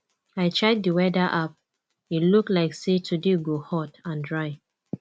i check di weather app e look like say today go hot and dry